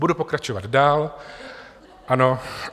Budu pokračovat dál, ano.